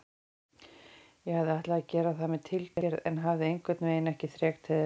Ég hafði ætlað að gera það með tilgerð en hafði einhvernveginn ekki þrek til þess.